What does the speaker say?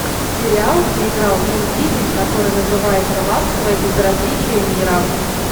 сериал где играл вин дизель который называется ласковое безразличие мира